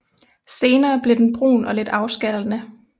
Senere bliver den brun og lidt afskallende